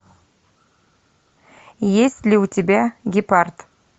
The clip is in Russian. есть ли у тебя гепард